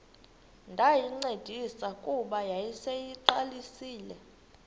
ndayincedisa kuba yayiseyiqalisile